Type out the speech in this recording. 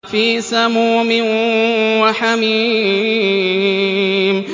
فِي سَمُومٍ وَحَمِيمٍ